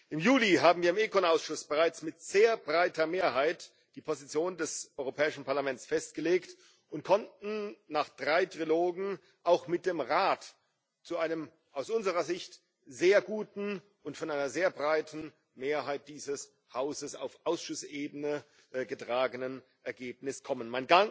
Im Juli haben wir im ECON Ausschuss bereits mit sehr breiter Mehrheit die Position des Europäischen Parlaments festgelegt und konnten nach drei Trilogen auch mit dem Rat zu einem aus unserer Sicht sehr guten und von einer sehr breiten Mehrheit dieses Hauses auf Ausschussebene getragenen Ergebnis kommen.